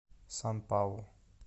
сан паулу